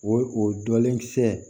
O o dɔlen kisɛ